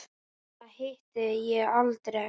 Hana hitti ég aldrei.